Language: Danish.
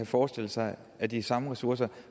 forestille sig at de samme ressourcer